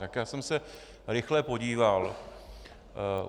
Tak já jsem se rychle podíval.